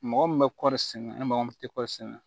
Mɔgɔ min bɛ kɔɔri sɛnɛ ni mɔgɔ min tɛ kɔɔri sɛnɛ